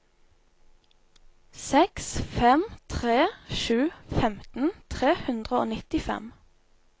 seks fem tre sju femten tre hundre og nittifem